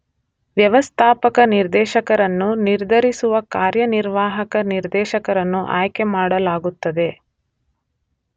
ವ್ಯವಸ್ಥಾಪಕ ನಿರ್ದೇಶಕರನ್ನು ನಿರ್ಧರಿಸುವ ಕಾರ್ಯನಿರ್ವಾಹಕ ನಿರ್ದೇಶಕರನ್ನು ಆಯ್ಕೆ ಮಾಡಲಾಗುತ್ತದೆ